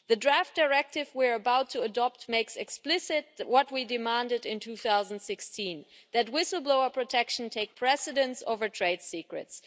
The draft directive we are about to adopt makes explicit what we demanded in 2016 that whistle blower protection take precedence over trade secrets.